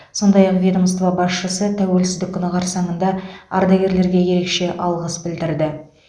сондай ақ ведомство басшысы тәуелсіздік күні қарсаңында ардагерлерге ерекше алғыс білдірді